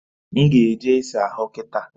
M ga eje isa ahu kita